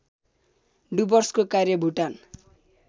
डुवर्सको कार्य भुटान